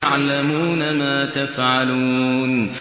يَعْلَمُونَ مَا تَفْعَلُونَ